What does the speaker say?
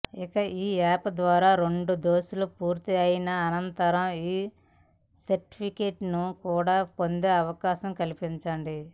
ఇక ఈ యాప్ ద్వారా రెండు డోసులు పూర్తి అయిన అనంతరం ఈ సర్టిఫికెట్ కూడా పొందే అవకాశం కల్పించండి